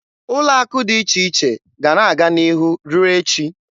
Ụlọ akụ dị iche iche ga-ana aga n'ihu ruo echi.